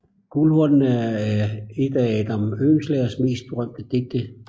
Guldhornene er et af Adam Oehlenschlägers mest berømte digte